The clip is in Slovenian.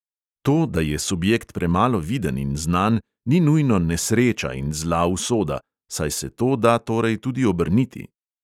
To, da je subjekt premalo viden in znan, ni nujno nesreča in zla usoda, saj se to da torej tudi obrniti.